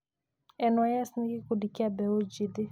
NYS nĩ gĩkundi kĩa mbeũ njĩthĩ.